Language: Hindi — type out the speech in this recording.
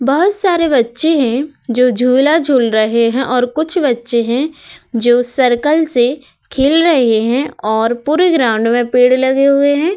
बहोत सारे बच्चे हैं जो झूला-झूल रहे हैं और कुछ बच्चे हैं जो सर्कल से खेल रहे हैं और पूरे ग्राउंड मैं पेड़ लगे हुए हैं।